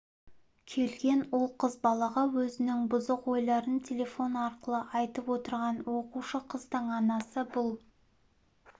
келген ол қыз балаға өзінің бұзық ойларын телефон арқылы айтып отырған оқушы қыздың анасы бұл